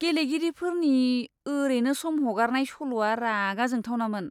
गेलेगिरिफोरनि ओरेनो सम हगारनाय सल'आ रागा जोंथावनामोन!